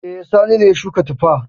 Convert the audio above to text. E, Sani ne ya shuka tuffa.